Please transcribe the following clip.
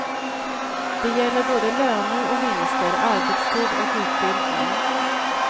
Det gäller både löner och vinster, arbetstid och utbildning.